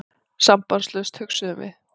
Sambandslaust, hugsuðum við.